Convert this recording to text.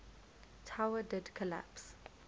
tower did collapse